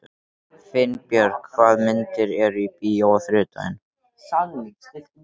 Finnbjörg, hvaða myndir eru í bíó á þriðjudaginn?